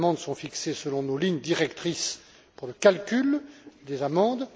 Ces amendes sont fixées selon nos lignes directrices pour le calcul des amendes.